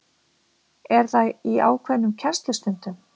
Er það í ákveðnum kennslustundum?